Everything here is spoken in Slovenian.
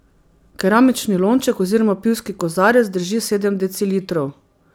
Keramični lonček oziroma pivski kozarec drži sedem decilitrov.